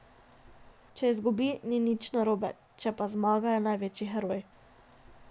Če izgubi, ni nič narobe, če pa zmaga, je največji heroj.